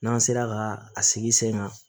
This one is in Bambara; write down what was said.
N'an sera ka a sigi sen kan